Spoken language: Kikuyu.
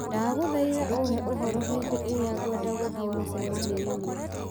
ndagũthaitha ũhe ũhoro hĩndĩ ĩrĩa ngwenda gũthiĩ mũcemanio-inĩ